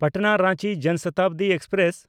ᱯᱟᱴᱱᱟ–ᱨᱟᱸᱪᱤ ᱡᱚᱱ ᱥᱚᱛᱟᱵᱫᱤ ᱮᱠᱥᱯᱨᱮᱥ